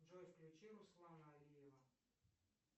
джой включи руслана алиева